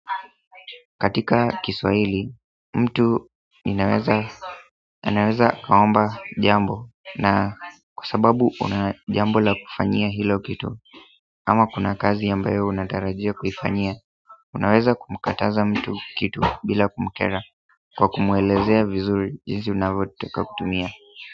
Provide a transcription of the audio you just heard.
Katika kiswaili, mtu ninaweza akaomba jambo na kwa sababu unajambo la kufanyia hilo kitu ama kuna kazi ambayo unatarajia kuifanyia, unaweza kumkataza mtu kitu bila kumakera kwa kumwelezea vizuri jinsi unavyo taka kutumia.